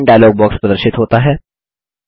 line dialog box प्रदर्शित होता है